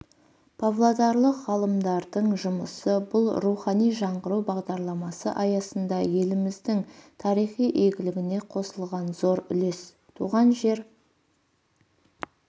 павлодарлық ғалымдардың жұмысы бұл рухани жаңғыру бағдарламасы аясында еліміздің тарихи игілігіне қосылған зор үлес туған жер